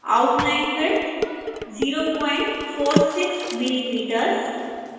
outline width 046 millimeters